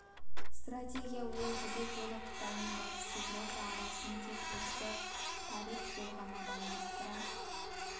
стратегия ол жібек жолы қытай мен батыс еуропа арасын тек осы тариіи жол ғана байланыстыра